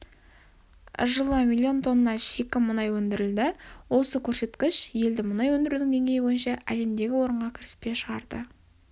жылы миллион тонна шикі мұнай өндірілді осы көрсеткіш елді мұнай өндірудің деңгейі бойынша әлемдегі орынға кіріспе шығарды